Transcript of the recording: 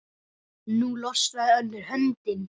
Nú losnaði önnur höndin.